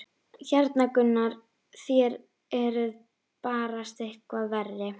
Hérna Gunnar, þér eruð barasta eitthvað verri!